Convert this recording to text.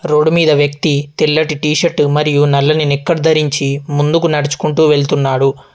Road మీద వ్యక్తి తెల్లటి టీ షర్టు మరియు నల్లని నిక్కర్ ధరించి ముందుకు నడుచుకుంటు వెళ్తున్నాడు.